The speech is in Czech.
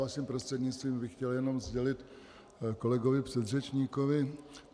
Vaším prostřednictvím bych chtěl jenom sdělit kolegovi předřečníkovi.